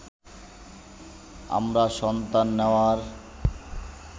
আমরা সন্তান নেয়ার